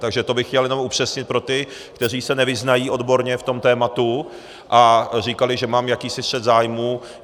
Takže to bych chtěl jenom upřesnit pro ty, kteří se nevyznají odborně v tom tématu a říkali, že mám jakýsi střet zájmů.